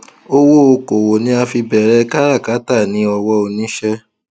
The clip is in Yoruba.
owó okòwò ni a fi bẹrẹ káràkátà ní ọwọ oníṣẹ